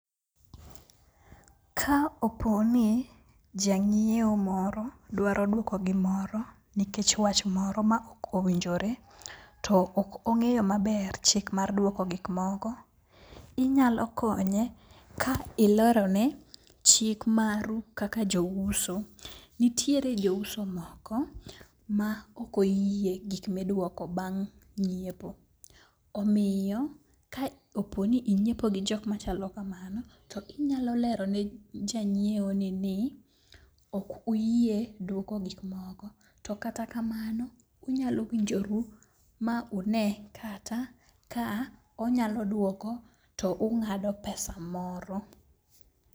Ka opo ni jang'iewo moro dwaro dwoko gi moro nikech wach moro maokowijore, to ok ong'eyo maber chik mar dwoko gik moko. Inyalo konye ka ilerone chik maru kaka jouso. Nitiere jo uso moko ma ok oyie gik midwoko bang' nyiepo. Omiyo ka oponi inyiepo gi jok machalo kamano, to inyalo lero ne janyiewo ni ok uyie dwoko gik moko. To kata kamano unyalo winjoru ma une kata ka onyalo dwoko to ung'ado pesa moro.